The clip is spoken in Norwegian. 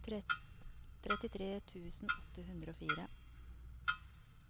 trettitre tusen åtte hundre og fire